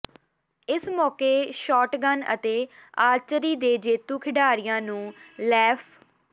ਇਸ ਮੌਕੇ ਸ਼ਾਟਗੰਨ ਅਤੇ ਆਰਚਰੀ ਦੇ ਜੇਤੂ ਖਿਡਾਰੀਆਂ ਨੂੰ ਲੈਫ